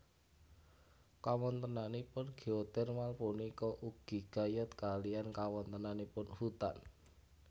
Kawontenanipun geotermal punika ugi gayut kaliyan kawontenanipun hutan